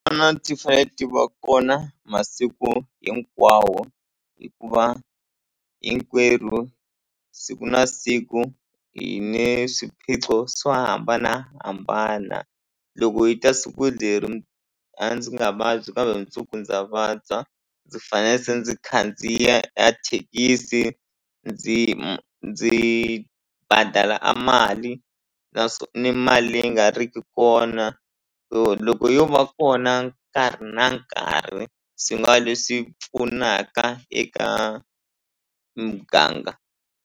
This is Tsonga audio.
ti fanele ti va kona masiku hinkwawo hikuva hinkwerhu siku na siku hi ni swiphiqo swo hambanahambana loko hi ta siku leri a ndzi nga vabyi kambe mundzuku ndza vabya ndzi fanele se ndzi khandziya a thekisi ndzi ndzi badala a mali na swo ni mali leyi nga riki kona so loko yo va kona nkarhi na nkarhi swi nga leswi pfunaka eka muganga.